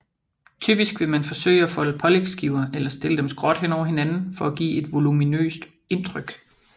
Typisk vil man forsøge at folde pålægsskiver eller stille dem skråt hen over hinanden for at give et voluminøst indtryk